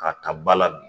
K'a ka ba ladon